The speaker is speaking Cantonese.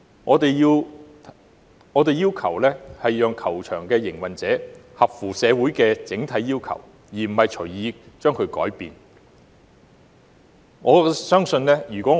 我們要求令球場的營運者合乎社會的整體要求，而非隨意改變球場選址。